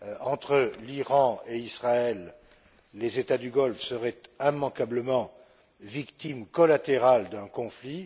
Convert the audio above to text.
Entre l'Iran et Israël, les États du Golfe seraient immanquablement les victimes collatérales d'un conflit.